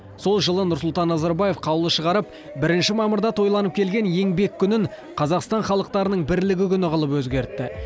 сол жылы нұрсұлтан назарбаев қаулы шығарып бірінші мамырда тойланып келген еңбек күнін қазақстан халықтарының бірлігі күні қылып өзгертті